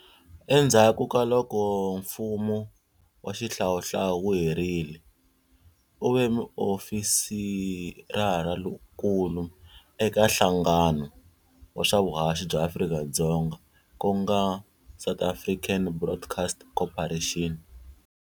Endzhaku ka loko mfumo wa Xihlawuhlawu wu herile, u ve muofisarankulu eka nhlangano wa swa vuhaxi bya Afrika-Dzonga ku nga South African Broadcast Corporation.